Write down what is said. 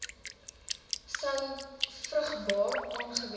sou vrugbaar aangewend